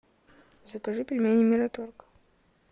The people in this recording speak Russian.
закажи пельмени мираторг